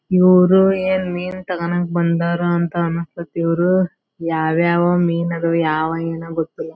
ಇವ್ರು ಏನ್ ಮೀನ್ ತೊಕೊಂಕ್ ಬಂದರ್ ಅಂತ ಅನ್ನಸತೈತಿ ಇವ್ರು ಯಾವ್ ಯಾವ್ ಮೀನ್ ಅದ್ವ್ ಯಾವನಿಗ ಗೊತ್ತು.